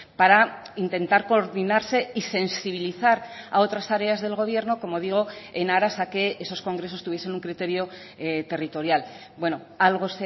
para intentar coordinarse y sensibilizar a otras tareas del gobierno como digo en aras a que esos congresos tuviesen un criterio territorial bueno algo